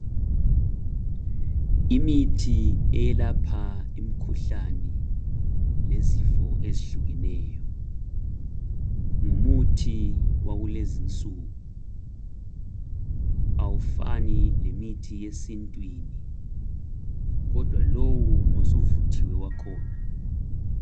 Imithi eyelapha imikhuhlane lezifo ezihlukeneyo ngumuthi wakulezinsuku awufani lemithi yesintwini kodwa lowu ngosuvuthiwe wakhona.